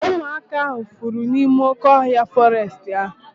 Ụmụaka ahu fụrụ n'ime oké ọhịa fọrestị ahu